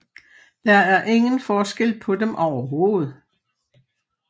Der er ingen forskel på dem overhovedet